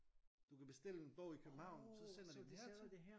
Du kan bestille en bog i København så sender de den hertil